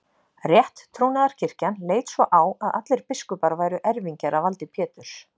Rétttrúnaðarkirkjan leit svo á að allir biskupar væru erfingjar að valdi Péturs.